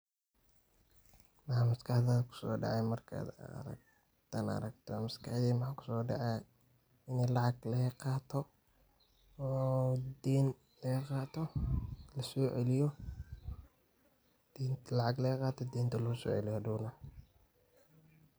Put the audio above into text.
Maxa maskax dadha kuso dacaaya marka aragto, maskaxtheyda maxa kuso dacaaya meel lacaag laga qato oo deen laga qaato, la soceliyo denta lacaag laga qaato denta loso ceeliiyo haadow naa.